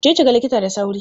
Je ki ga likita da sauri!